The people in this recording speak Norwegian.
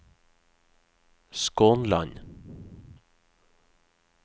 Skånland